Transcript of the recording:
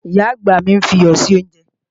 Ìyá-àgbà mi ń fi iyọ̀ sí oúnjẹ